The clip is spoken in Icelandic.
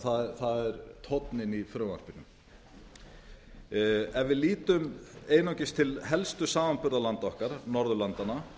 það er tónninn í frumvarpinu ef við lítum einungis til helstu samanburðarlanda okkar norðurlandanna